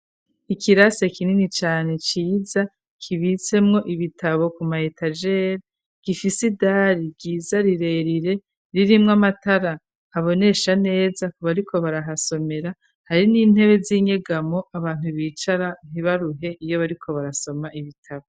Ikirase kinini cane ciza kibitsemwo ibitabo ku mayetajeli gifise idari giza rirerire ririmwo amatara abonesha neza kubariko barahasomera hari n'intebe z'inyegamo abantu bicara ntibaruhe iyo bariko barasoma ibitabo.